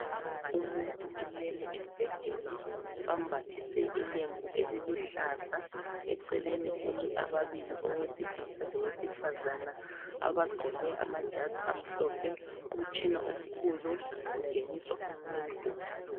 Umuntu ulele embhedeni, bambathise ilembu eliluhlaza, eceleni kumi ababili owesilisa lowesifazana abagqoke amajazi amhlophe, umtshina omkhulu ungeniswa umuntu.